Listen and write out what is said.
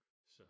Så